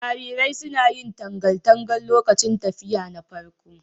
Jarirai suna yin tangal tangal lokacin tafiya na farko.